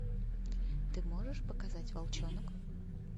ты можешь показать волчонок